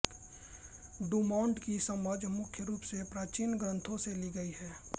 Dumont की समझ मुख्य रूप से प्राचीन ग्रंथों से ली गई है